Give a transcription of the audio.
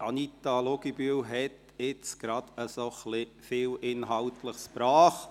Anita Luginbühl hat gerade eben etwas viel Inhaltliches gebracht.